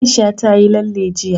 Aisha ta yi lalle jiya.